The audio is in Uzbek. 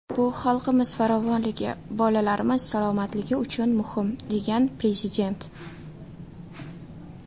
Bu xalqimiz farovonligi, bolalarimiz salomatligi uchun muhim”, degan Prezident.